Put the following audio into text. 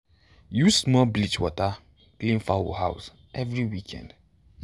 use small bleach water clean fowl house every weekend.